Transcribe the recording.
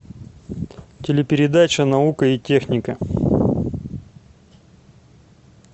телепередача наука и техника